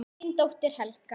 Þín dóttir, Helga.